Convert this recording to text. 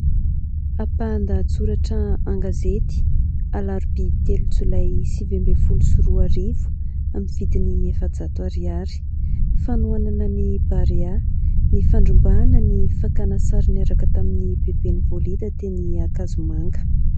Ampahan- dahatsoratra an-gazety alarobia telo jolay sivy ambifolo sy roarivo, amin'ny vidiny efa-jato ariary. Fanohanana ny barea, nifandrombahana ny fakana sary niaraka tamin'ny beben'i Bolida teny ankazomanga.